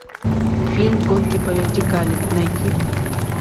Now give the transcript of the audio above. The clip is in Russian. фильм гонки по вертикали найди